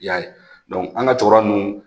I y'a an ga cɛkɔrɔba ninnu